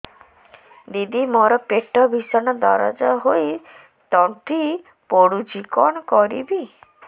ଦିଦି ମୋର ପେଟ ଭୀଷଣ ଦରଜ ହୋଇ ତଣ୍ଟି ପୋଡୁଛି କଣ କରିବି